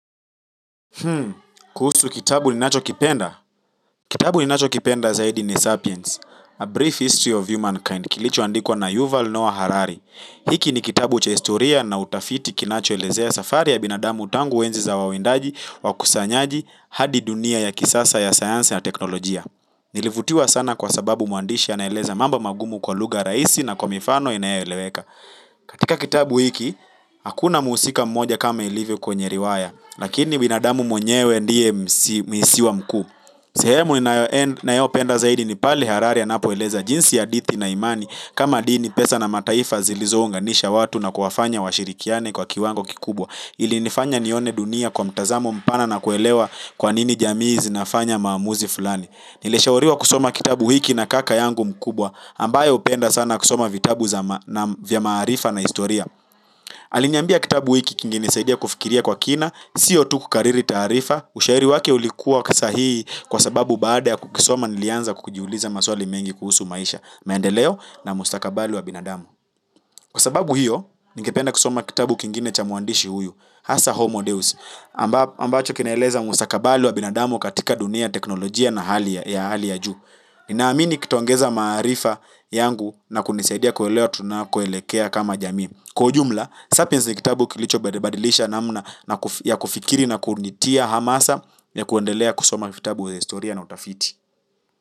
Kuhusu kitabu ninachokipenda? Kitabu ninachokipenda zaidi ni Sapiens, A Brief History of Humankind, kilichoandikwa na Yuval Noah Harari. Hiki ni kitabu cha historia na utafiti kinachoelezea safari ya binadamu tangu enzi za wawindaji, wakusanyaji hadi dunia ya kisasa ya science na teknolojia. Nilivutiwa sana kwa sababu mwandishi anaeleza mambo magumu kwa lugha rahisi na kwa mifano inayoeleweka. Katika kitabu hiki, hakuna mhusika mmoja kama ilivyo kwenye riwaya. Lakini binadamu mwenyewe ndiye mhusika mkuu. Sehemu ninayopenda zaidi ni pale Harari anapoeleza jinsi hadithi na imani kama dini pesa na mataifa zilizounganisha watu na kuwafanya washirikiane kwa kiwango kikubwa, ilinifanya nione dunia kwa mtazamo mpana na kuelewa kwa nini jamii zinafanya maamuzi fulani. Nilishauriwa kusoma kitabu hiki na kaka yangu mkubwa ambaye hupenda sana kusoma vitabu vya maarifa na historia. Aliniambia kitabu hiki kingenisadidia kufikiria kwa kina sio tu kukariri taarifa. Ushauri wake ulikuwa wa kisahihi kwa sababu baada ya kukisoma nilianza kujiuliza maswali mengi kuhusu maisha, maendeleo na mustakabali wa binadamu. Kwa sababu hiyo ningependa kusoma kitabu kingine cha mwandishi huyu, hasa Homo Deus, ambacho kinaeleza mustakabali wa binadamu katika dunia ya teknolojia na hali ya juu. Ninaamini kitaongeza maarifa yangu na kunisaidia kuelewa tunakoelekea kama jamii. Kwa ujumla, Sapiens ni kitabu kilichobadilisha namna ya kufikiri, na kunitia hamasa ya kuendelea kusoma vitabu vya historia na utafiti.